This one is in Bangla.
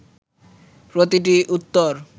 প্রতিটি উত্তর